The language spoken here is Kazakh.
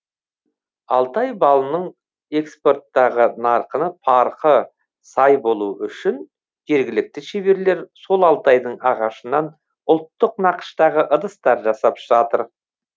алтай балының экспорттағы нарқына парқы сай болу үшін жергілікті шеберлер сол алтайдың ағашынан ұлттық нақыштағы ыдыстар жасап жатыр